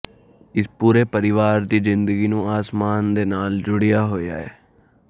ਇਸ ਪੂਰੇ ਪਰਿਵਾਰ ਦੀ ਜ਼ਿੰਦਗੀ ਨੂੰ ਅਸਮਾਨ ਦੇ ਨਾਲ ਜੁੜਿਆ ਹੋਇਆ ਹੈ